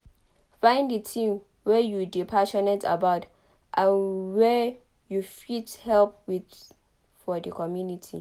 find di thing wey you dey passionate about and wey you fit help with for di community